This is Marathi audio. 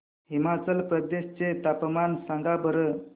हिमाचल प्रदेश चे तापमान सांगा बरं